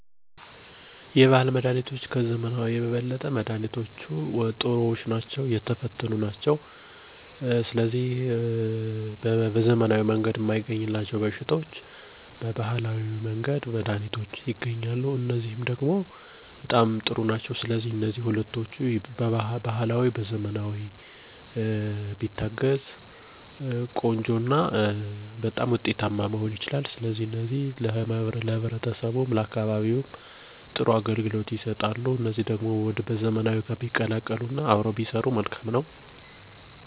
ብዙ ሰዎች ባህላዊ መድሃኒቶችን ወይም ከዕፅዋት የተቀመሙ ህክምናዎችን ይጠቀማሉ። ለምሳሌ የወፍ፣ የውሻ፣ የኪንታሮት፣ የምች፣ ወዘተ ለመሳሰሉት ይጠቀማሉ። በግሌ የተጠቀምኩት ከዘመናዊ ጋር ሲወዳደር በዘመናዊ ህክምና ፈውስ ያልተገኘለትን በባህላዊው ህክምና ፈውስ አግኝቻለሁ።